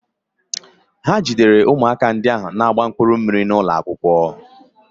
Ha jidere ụmụaka ndị ahụ na-agba mkpụrụ mmiri n'ụlọ akwụkwọ.